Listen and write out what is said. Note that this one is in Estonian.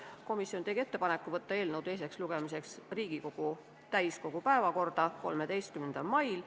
Komisjon tegi ettepaneku võtta eelnõu teiseks lugemiseks Riigikogu täiskogu päevakorda 13. maiks.